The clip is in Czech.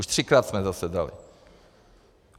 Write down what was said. Už třikrát jsme zasedali.